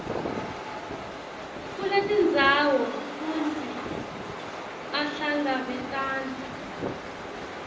kuletindzawo kutsi ahlangabetane